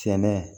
Cɛn na